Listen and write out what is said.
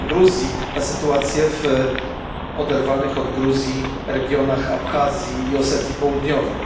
Gruzji o sytuacji w oderwanych od Gruzji regionach Abchazji i Osetii Południowej.